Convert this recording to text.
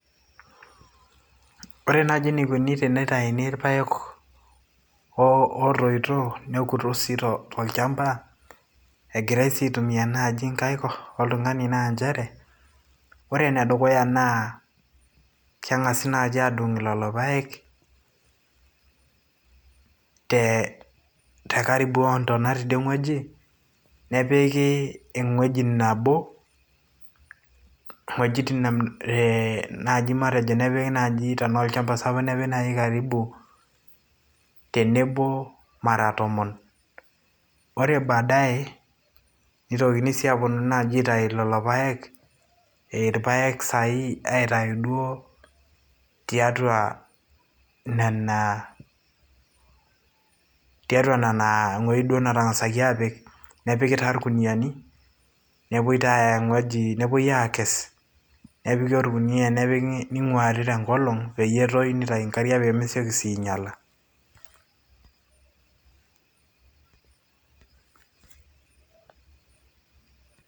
Ore nai eneikuni tenitauni irpaek ootoito nekutusito tolchamba engirai sii nai aitumia nkaik naa nchere, ore enedukuya naa kengasi naaji adung lolo paek te karibu oo ntana teinewueji nepiki ewueji nabo wojitin eeh matejo naji nepiki wuejitin tanaa olchamba sapuk nepiki naji wuejitin karibu tenebo mara tomon ore baadaye neitokini si naji aponu aitau lolo paek irpaek sai aitau duo tiatua nona tiaatua wuejitin duo natangasi apik nepiki taa irkuniani nepui taa aya ewueji nepuoi aakes nepiki orkunia nepiki ninguari tenkolong peyie eitau nkariak pemesieki sii ainyala.